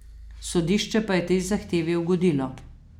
Sodišče pa je tej zahtevi ugodilo.